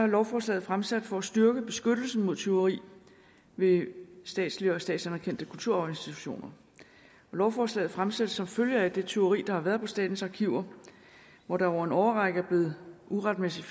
lovforslaget fremsat for at styrke beskyttelsen mod tyveri ved statslige og statsanerkendte kulturarvsinstitutioner lovforslaget er fremsat som følge af det tyveri der har været på statens arkiver hvor der over en årrække uretmæssigt